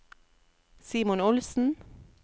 Simon Olsen